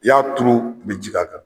I y'a turu i bɛ ji k'a la.